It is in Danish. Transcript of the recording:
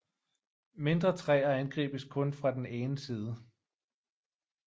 Mindre træer angribes kun fra den ene side